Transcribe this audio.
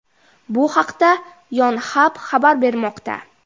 Bu haqda Yonhap xabar bermoqda .